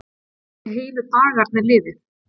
Svona gátu heilu dagarnir liðið.